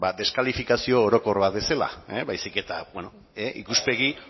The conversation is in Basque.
deskalifikazio orokor bat bezala baizik eta ikuspegi